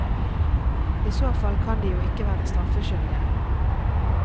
I så fall kan de jo ikke være straffeskyldige.